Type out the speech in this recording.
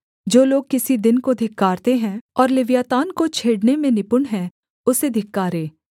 जो लोग किसी दिन को धिक्कारते हैं और लिव्यातान को छेड़ने में निपुण हैं उसे धिक्कारें